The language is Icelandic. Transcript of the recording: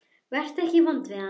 Vertu ekki vondur við hana.